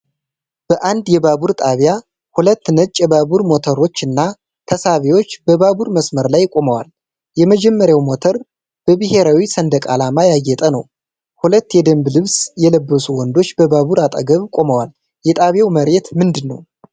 በአንድ የባቡር ጣቢያ ሁለት ነጭ የባቡር ሞተሮች እና ተሳቢዎች በባቡር መስመር ላይ ቆመዋል። የመጀመሪያው ሞተር በብሔራዊ ሰንደቅ ዓላማ ያጌጠ ነው። ሁለት የደንብ ልብስ የለበሱ ወንዶች ባቡሩ አጠገብ ቆመዋል። የጣቢያው መሬት ምንድነው?